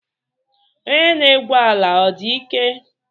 Onye na-egwu ala ọ dị ike?